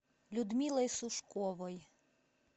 людмилой сушковой